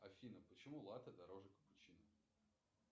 афина почему латте дороже капучино